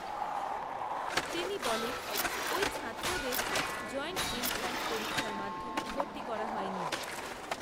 তিনি বলেন, ওই ছাত্রদের জয়েন্ট এন্ট্রান্স পরীক্ষার মাধ্যমে, ভর্তি করা হয়নি